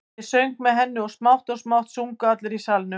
Ég söng með henni og smátt og smátt sungu allir í salnum.